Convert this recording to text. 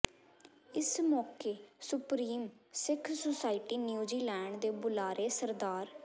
ਇਸ ਮੌਕੇ supreme Sikh society New Zealand ਦੇ ਬੁਲਾਰੇ ਸ